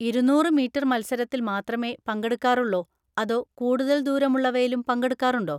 ഇരുന്നൂറ് മീറ്റർ മത്സരത്തിൽ മാത്രമേ പങ്കെടുക്കാറുള്ളോ അതോ കൂടുതൽ ദൂരമുള്ളവയിലും പങ്കെടുക്കാറുണ്ടോ?